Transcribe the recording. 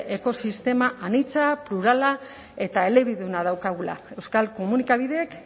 ekosistema anitza plurala eta elebiduna daukagula euskal komunikabideek